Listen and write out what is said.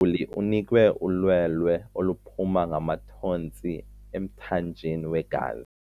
mguli unikwe ulwelwe oluphuma ngamathontsi emthanjeni wegazi.